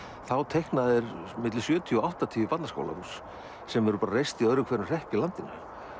þá teikna þeir milli sjötíu og áttatíu barnaskólahús sem eru reist í öðrum hverjum hrepp í landinu